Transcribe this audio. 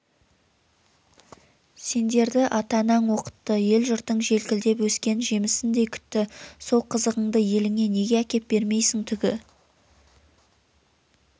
сендерді атаң-анаң оқытты елі-жұртың желкілдеп өскен жемісіндей күтті сол қызығынды еліңе неге әкеп бермейсің түгі